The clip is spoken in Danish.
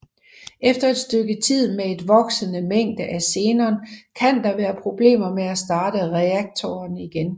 Efter et stykke tid med et voksende mængde af xenon kan der være problemer med at starte reaktoren igen